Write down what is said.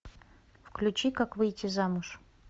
включи как выйти замуж